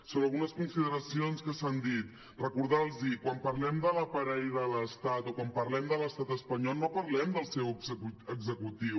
sobre algunes consideracions que s’han dit recordar los que quan parlem de l’aparell de l’estat o quan parlem de l’estat espanyol no parlem del seu executiu